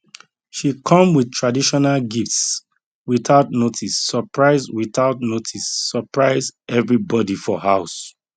she come with traditional gifts without notice surprise without notice surprise everybody for house